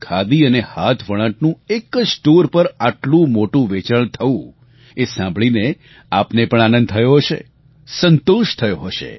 ખાદી અને હાથવણાટનું એક જ સ્ટોર પર આટલું મોટું વેચાણ થવું એ સાંભળીને આપને પણ આનંદ થયો હશે સંતોષ થયો હશે